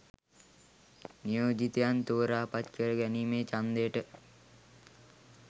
නියෝජිතයන් තෝරා පත් කර ගැනීමේ ඡන්දයට